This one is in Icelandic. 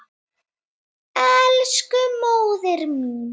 Elsku móðir mín.